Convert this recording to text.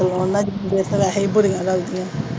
ਤੇ ਉਹਨਾਂ ਦੀਆਂ ਤਾਂ ਵੈਸੇ ਈ ਬੁਰੀਆਂ ਲੱਗਦੀਆਂ।